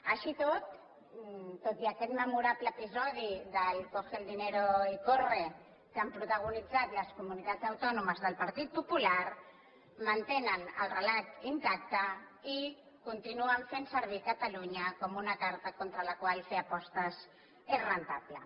així i tot tot i aquest memorable episodi del coge el dinero y corre que han protagonitzat les comunitats autònomes del partit popular mantenen el relat intacte i continuen fent servir catalunya com una carta contra la qual fer apostes és rendible